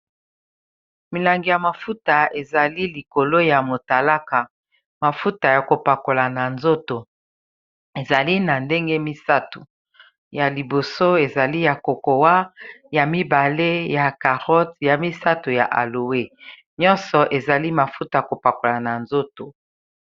Milangi ya mafuta ezali likolo ya motalaka mafuta ya kopakola na nzoto ezali na ndenge misato ya liboso ezali ya kokowa ya mibale ya carote ya misato ya aloa nyonso ezali mafuta ya kopakola na nzoto.